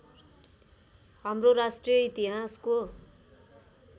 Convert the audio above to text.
हाम्रो राष्ट्रिय इतिहासको